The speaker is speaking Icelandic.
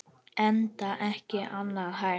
Enda ekki annað hægt.